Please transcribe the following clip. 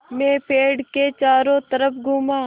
मैं पेड़ के चारों तरफ़ घूमा